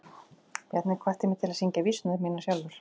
Bjarni hvatti mig til að syngja vísurnar mínar sjálfur.